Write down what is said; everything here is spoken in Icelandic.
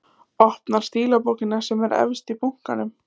Opnar stílabókina sem er efst í bunkanum.